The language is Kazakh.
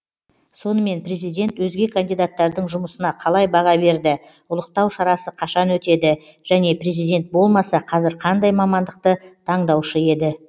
сонымен президент өзге кандидаттардың жұмысына қалай баға берді ұлықтау шарасы қашан өтеді және президент болмаса қазір қандай мамандықты таңдаушы еді